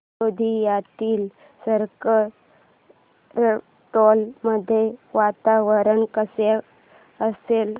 गोंदियातील सरकारटोला मध्ये वातावरण कसे असेल